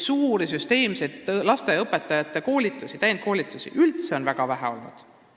Suuri, süsteemseid lasteaiaõpetajate koolitusi on üldse väga vähe olnud.